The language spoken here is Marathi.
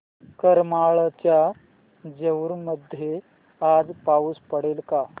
करमाळ्याच्या जेऊर मध्ये आज पाऊस पडेल का